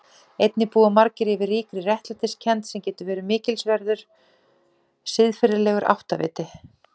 Einnig búa margir yfir ríkri réttlætiskennd sem getur verið mikilsverður siðferðilegur áttaviti.